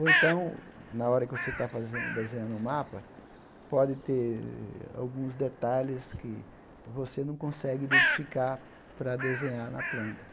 Ou então, na hora que você está fazendo desenhando um mapa, pode ter alguns detalhes que você não consegue identificar para desenhar na planta.